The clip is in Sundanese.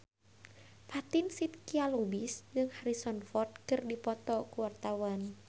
Fatin Shidqia Lubis jeung Harrison Ford keur dipoto ku wartawan